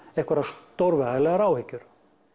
einhverjar stórvægilegar áhyggjur